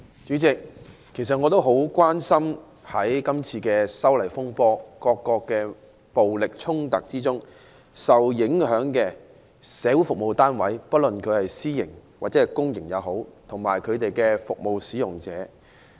主席，我很關心在今次修例風波的暴力衝突中受影響的社會服務單位，不論是私營或公營的，我也關心有關的服務使用者。